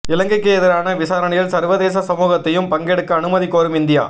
இலங்கைக்கு எதிரான விசாரணையில் சர்வதேச சமூகத்தையும் பங்கெடுக்க அனுமதி கோரும் இந்தியா